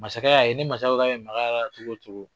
Masakɛ y'a ye ni masakɛ k'a be mak'a la cogo o cogo.